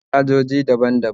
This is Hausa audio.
muna da cajoji daban daban